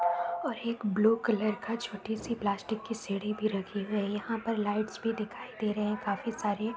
और एक blue colour का छोटी सी पलास्टिक की सीढ़ी भी रखी हुई है। यहाँ पर लाइट्स भी दिखाई दे रहे हैं काफी सारी।